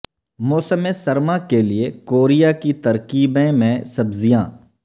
موسم سرما کے لئے کوریا کی ترکیبیں میں سبزیاں